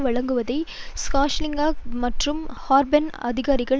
வழங்குவதை ஹீலாங்ஜியாங் மற்றும் ஹார்பன் அதிகாரிகள்